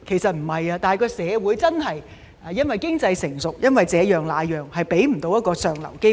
不是的，是因為社會經濟成熟和這樣那樣的理由，未能給他們一個向上流動的機會。